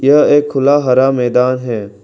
यह एक खुला हरा मैदान है।